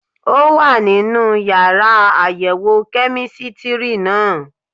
Ó wà nínú yàrá àyẹ̀wò kẹ́mísítírì náà